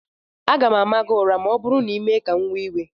M ga-ama gị ụra ma ọ bụrụ na ị mee ka m wee iwe